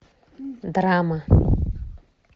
драма